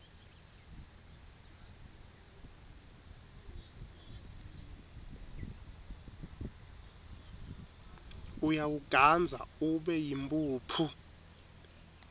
uyawugandza ube yimphuphu